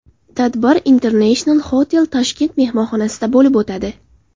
Tadbir International Hotel Tashkent mehmonxonasida bo‘lib o‘tadi.